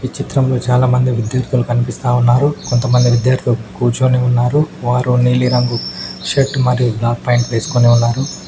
ఈ చిత్రంలో చాలా మంది విద్యార్థులు కన్పిస్తా ఉన్నారు కొంతమంది విద్యార్థులు కూర్చొని ఉన్నారు వారు నీలిరంగు షర్ట్ మరియు బ్లాక్ ఫ్యాంట్ వేస్కొని ఉన్నారు.